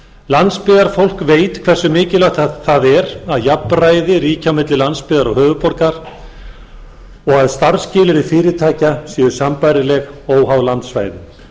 landsbyggðarfólk veit hversu mikilvægt það er að jafnræði ríki á milli landsbyggðar og höfuðborgar og að starfsskilyrði fyrirtækja séu sambærileg óháð landsvæðum